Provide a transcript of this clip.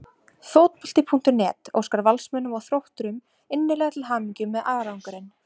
Fótbolti.net óskar Valsmönnum og Þrótturum innilega til hamingju með árangurinn.